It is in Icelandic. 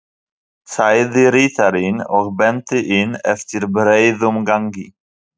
sagði ritarinn og benti inn eftir breiðum gangi.